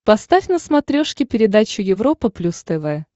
поставь на смотрешке передачу европа плюс тв